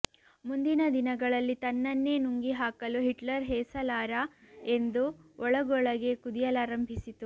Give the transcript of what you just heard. ಮುಂದಿನ ದಿನಗಳಲ್ಲಿ ತನ್ನನ್ನೇ ನುಂಗಿಹಾಕಲು ಹಿಟ್ಲರ್ ಹೇಸಲಾರ ಎಂದು ಒಳಗೊಳಗೆ ಕುದಿಯಲಾರಂಭಿಸಿತು